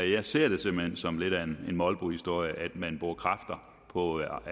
jeg ser det simpelt hen som lidt af en molbohistorie at man bruger kræfter på